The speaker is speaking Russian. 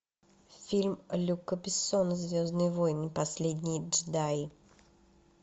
фильм люка бессона звездные воины последние джедаи